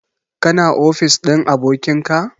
Ka na ofis ɗin abokin ka?